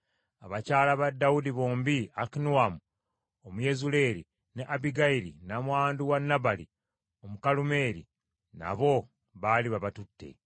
Abakyala ba Dawudi bombi, Akinoamu Omuyezuleeri ne Abbigayiri nnamwandu wa Nabali Omukalumeeri, nabo baali babatutte.